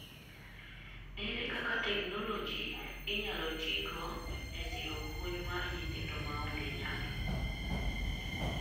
Ere kaka technology inyalo tiigo ee siro puonj mar nyithindo maonge nyalo